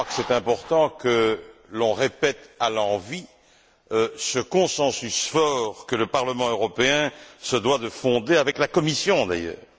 Je crois que c'est important que l'on répète à l'envi ce consensus fort que le Parlement européen se doit de fonder, avec la Commission d'ailleurs.